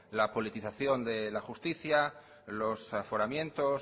la politización de la justicia los aforamientos